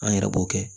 An yɛrɛ b'o kɛ